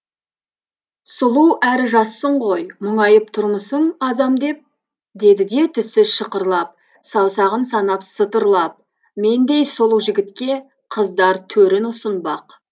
сұлу әрі жассың ғой мұңайып тұрмысың азам деп деді де тісі шықырлап саусағын санап сытырлап мендей сұлу жігітке қыздар төрін ұсынбақ